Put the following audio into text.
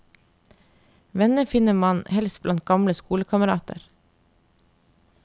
Venner finner han helst blant gamle skolekamerater.